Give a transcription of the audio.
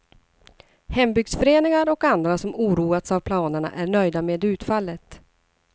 Hembygdsföreningar och andra som oroats av planerna är nöjda med utfallet.